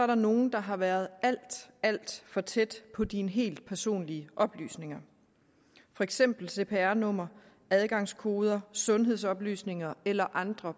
der nogen der har været alt alt for tæt på dine helt personlige oplysninger for eksempel cpr nummer adgangskoder sundhedsoplysninger eller andre